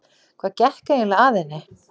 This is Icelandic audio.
Hvað gekk eiginlega að henni?